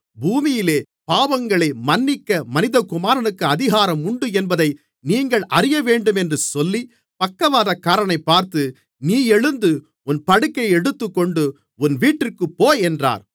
பூமியிலே பாவங்களை மன்னிக்க மனிதகுமாரனுக்கு அதிகாரம் உண்டு என்பதை நீங்கள் அறியவேண்டும் என்று சொல்லி பக்கவாதக்காரனைப் பார்த்து நீ எழுந்து உன் படுக்கையை எடுத்துக்கொண்டு உன் வீட்டிற்குப் போ என்றார்